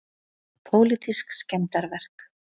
Pólitísk skemmdarverk